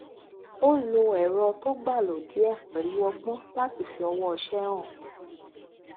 ó lo ẹrọ tó gbà lódìé pẹlú ọgbọn láti fi ọwọṣe hàn